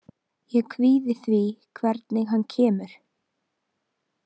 Ég kvíði því hvernig hann kemur.